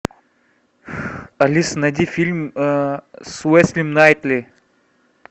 алиса найди фильм с уэсли найтли